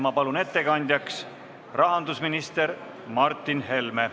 Ma palun ettekandjaks rahandusminister Martin Helme.